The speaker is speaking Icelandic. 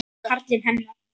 Karlinn hennar.